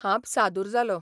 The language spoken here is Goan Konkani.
हांब सादूर जालों.